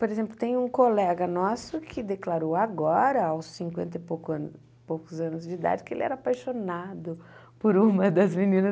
Por exemplo, tem um colega nosso que declarou agora, aos cinquenta e pouco ano poucos anos de idade, que ele era apaixonado por uma das meninas.